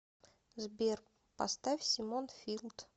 сбер поставь симон филд